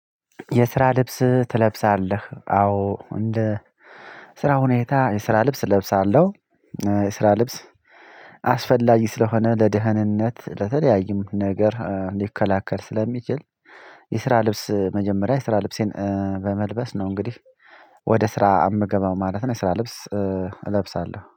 የስራ ልብስ ትለብሳለህ አዎ እንደ ስራ ሁኔታ የስራ ልብስ እለብሳለሁ የስራ ልብስ አስፈላጊ ስለሆነ ለደህንነት ለተለያዩም ነገር ሊከላከል ስለሚችል። የስራ ልብስ መጀመሪያ የስራ ልብሴን በመልበስ ነው እንግዲህ ወደ ስራ እምገባ ማለት ነው። የስራ ልብስ እለብሳለሁ